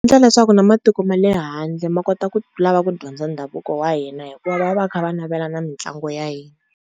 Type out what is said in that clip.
leswaku na matiko ma le handle ma kota ku lava ku dyondza ndhavuko wa hina hikuva va va kha va navela na mitlangu ya hina.